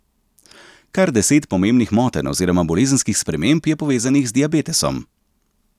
Kar deset pomembnih motenj oziroma bolezenskih sprememb je povezanih z diabetesom.